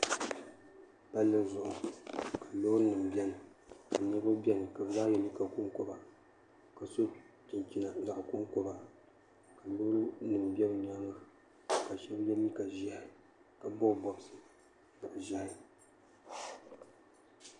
palli zuɣu loori nima biɛni ka niriba biɛni ka ye liiga konkoba ka so chinchina zaɣa konkoba ka loori nima be bɛ nyaanga ka sheba ye liiga ʒehi ka bobi bobsi bob'ʒehi.